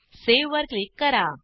save वर click करा